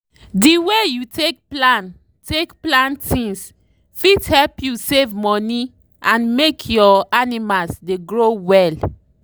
the way you take plan take plan things fit help you save money and make your animals dey grow well.